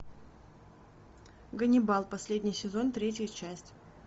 ганнибал последний сезон третья часть